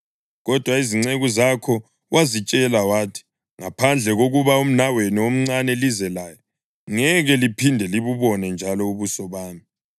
Kodwa izinceku zakho wazitshela wathi, ‘Ngaphandle kokuba umnawenu omncane lize laye, ngeke liphinde libubone njalo ubuso bami.’